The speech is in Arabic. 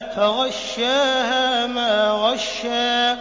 فَغَشَّاهَا مَا غَشَّىٰ